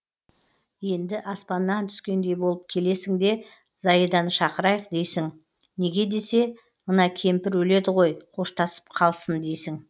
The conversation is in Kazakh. енді аспаннан түскендей болып келесің де заиданы шақырайық дейсің неге десе мына кемпір өледі ғой қоштасып қалсын дейсің